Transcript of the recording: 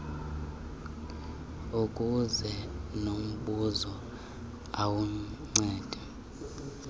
zibuze lombuzo ulandelayo